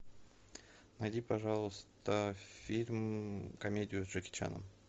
найди пожалуйста фильм комедию с джеки чаном